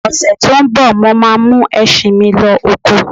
Ọ̀sè tí ń bọ̀, mo ma mú ẹṣin mí lọ oko